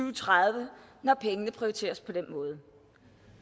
og tredive når pengene prioriteres på den måde